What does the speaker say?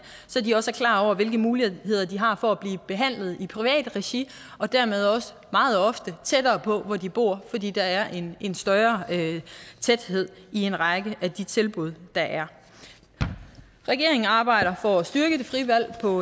så de også er klar over hvilke muligheder de har for at blive behandlet i det private regi og dermed også meget ofte tættere på hvor de bor fordi der er en en større tæthed i en række af de tilbud der er regeringen arbejder for at styrke det frie valg på